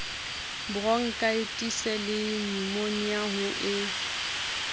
boronkhaetisi le nyumonia ho e